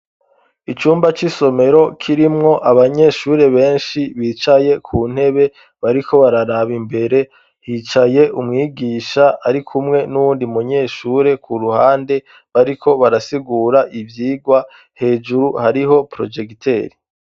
Icumba c'isomero kirimwo abanyeshure benshi bicaye ku ntebe bariko bararaba imbere hicaye umwigisha ari kumwe n'uwundi munyeshure ku ruhande bariko barasigura ivyirwa hejuru hariho projekiteri.